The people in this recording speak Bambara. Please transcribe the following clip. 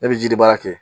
Ne bɛ ji di baara kɛ